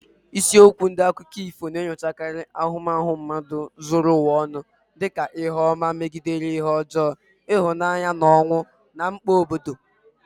Isiokwu ndị dị na akụkọ ifo na-enyochakarị ahụmahụ mmadụ zuru ụwa ọnụ, dị ka ihe ọma megide ihe ọjọọ, ịhụnanya na ọnwụ, na mkpa obodo.